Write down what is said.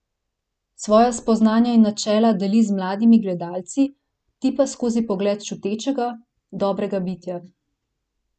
Svoja spoznanja in načela deli z mladimi gledalci, ti pa skozi pogled čutečega, dobrega bitja.